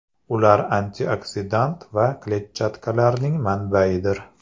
Ular antioksidant va kletchatkalarning manbaidir.